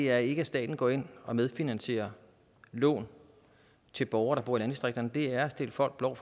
er ikke at staten går ind og medfinansierer lån til borgere der bor i landdistrikterne det er at stikke folk blår